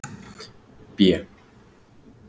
B